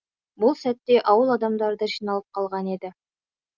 бұл сәтте ауыл адамдары да жиналып қалған еді